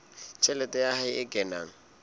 tjhelete ya hae e kenang